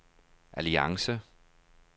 alliance